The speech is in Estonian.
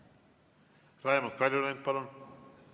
Raimond Kaljulaid, palun!